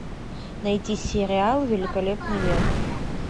найти сериал великолепный век